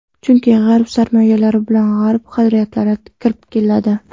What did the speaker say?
Chunki G‘arb sarmoyalar bilan G‘arb qadriyatlari kirib keladi.